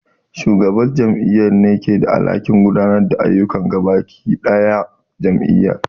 Shugaban jami'ar ne ke da alhakin gudanar da ayyukan gaba ɗaya jami'ar